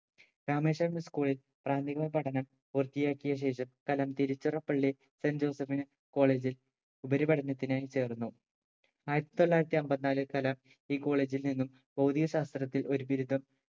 Rameswaram school ളിൽ പ്രാഥമിക പഠനം പൂർത്തിയാക്കിയ ശേഷം കലാം തിരുച്ചിറപ്പള്ളി സെന്റ് ജോസഫ് ന് college ൽ ഉപരിപഠനത്തിനായി ചേർന്നു ആയിരത്തി തൊള്ളായിരത്തി അമ്പതിനാല് കലാം ഈ college ൽ നിന്നും ഭൗതികശാസ്ത്രത്തിൽ ഒരു ബിരുദം